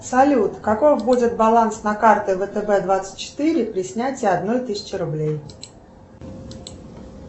салют какой будет баланс на карте втб двадцать четыре при снятии одной тысячи рублей